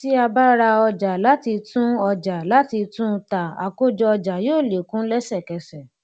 tí a bá ra ọjà láti tun ọjà láti tun ta àkójọ ọjà yóó lékún lesekese